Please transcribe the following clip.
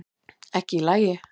Ekki í lagi